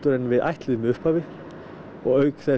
en við ætluðum í upphafi og auk þess